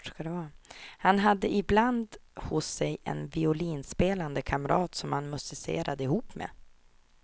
Han hade ibland hos sig en violinspelande kamrat som han musicerade ihop med.